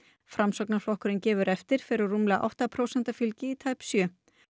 framsóknarflokkurinn gefur eftir fer úr rúmlega átta prósenta fylgi í tæp sjö